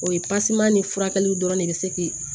O ye ni furakɛli dɔrɔn de bɛ se k'i